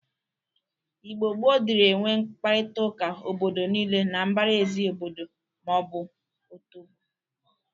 Igbo gboo dịrị enwe mkparịtaụka obodo niile na mbaraezi obodo ma ọ bụ otobo